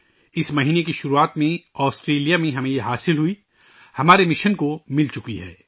اس مہینے کے شروع میں، آسٹریلیا میں ہمیں یہ ملی ، ہمارے مشن کو مل چکی ہے